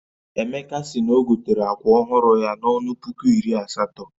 Emeka si n'ogotere akwa ọhụrụ ya na-ọnụ puku iri asatọ